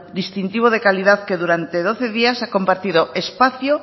distintivo de calidad que durante doce días ha compartido espacio